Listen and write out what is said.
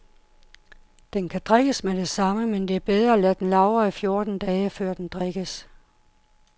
Den kan drikkes med det samme, men det er bedre at lade den lagre i fjorten dage, før den drikkes.